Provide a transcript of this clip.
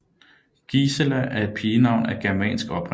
Gisela er et pigenavn af germansk oprindelse